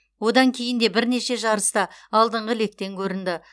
одан кейін де бірнеше жарыста алдыңғы лектен көрінді